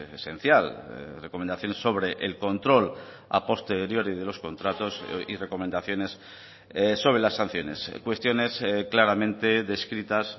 esencial recomendaciones sobre el control a posteriori de los contratos y recomendaciones sobre las sanciones cuestiones claramente descritas